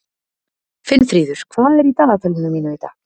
Finnfríður, hvað er í dagatalinu mínu í dag?